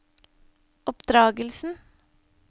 oppdragelsen